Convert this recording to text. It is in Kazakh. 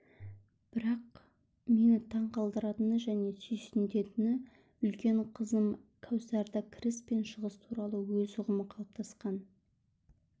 бірақ мені таң қалдыратыны және сүйсінтетіні үлкен қызым кәусарда кіріс пен шығыс туралы өз ұғымы қалыптасқан